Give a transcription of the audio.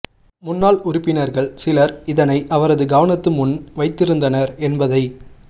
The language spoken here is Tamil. முன்னாள் உறுப்பினர்கள் சிலர் இதனை அவரது கவனத்து முன் வைத்திருந்தனர் என்பதை